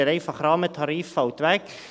Der einfache Rahmentarif fällt weg.